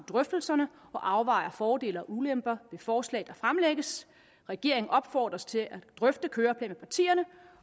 drøftelserne og afvejer fordele og ulemper ved forslag der fremlægges regeringen opfordres til at drøfte køreplan med partierne